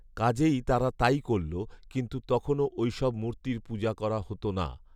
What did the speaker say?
কাজেই তারা তাই করল, কিন্তু তখনও ঐসব মূর্তির পূজা করা হ’ত না